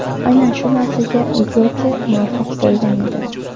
Aynan shu narsaga Gyote muvaffaq bo‘lgan edi.